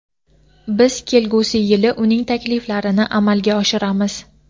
biz kelgusi yili uning takliflarini amalga oshiramiz.